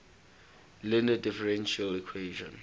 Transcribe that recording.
linear differential equation